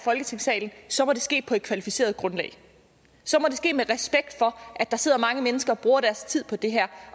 folketingssalen så må det ske på et kvalificeret grundlag så må det ske med respekt for at der sidder mange mennesker og bruger deres tid på det her